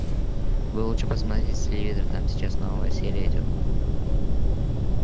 вы лучше посмотрите телевизор там сейчас новая серия идёт